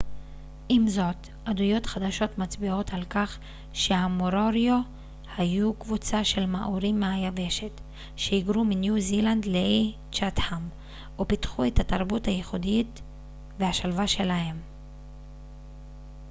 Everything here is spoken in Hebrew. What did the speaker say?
עם זאת עדויות חדשות מצביעות על כך שהמוריורי היו קבוצה של מאורים מהיבשת שהיגרו מניו זילנד לאיי צ'אטהאם ופיתחו את התרבות הייחודית והשלווה שלהם